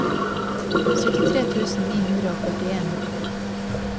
syttitre tusen ni hundre og førtien